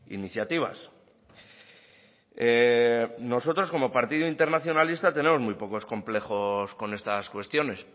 iniciativas nosotros como partido internacionalista tenemos muy pocos complejos con estas cuestiones